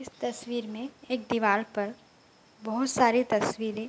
इस तस्वीर में एक दीवाल पर बहोत सारी तस्वीरें --